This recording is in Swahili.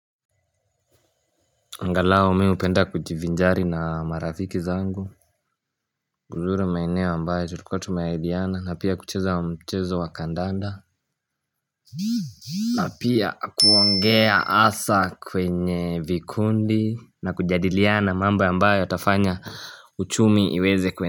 Angalau mi hupenda kujivinjari na marafiki zangu uzuri maeneo ambayo tulikuwa tumeahidiana na pia kucheza mchezo wa kandanda. Na pia kuongea hasa kwenye vikundi na kujadiliana mambo ambayo yatafanya uchumi iweze kue.